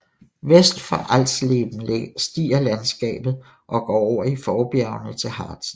Vest for Alsleben stiger landskabet og går over i forbjergene til Harzen